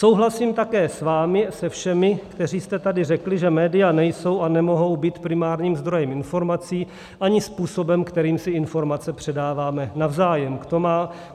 Souhlasím také s vámi se všemi, kteří jste tady řekli, že média nejsou a nemohou být primárním zdrojem informací ani způsobem, kterým si informace předáváme navzájem.